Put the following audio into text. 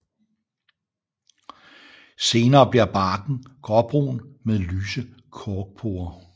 Senere bliver barken gråbrun med lyse korkporer